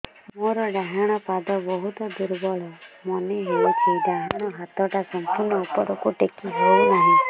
ମୋର ଡାହାଣ ପାଖ ବହୁତ ଦୁର୍ବଳ ମନେ ହେଉଛି ଡାହାଣ ହାତଟା ସମ୍ପୂର୍ଣ ଉପରକୁ ଟେକି ହେଉନାହିଁ